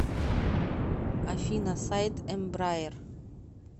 афина сайт эмбраер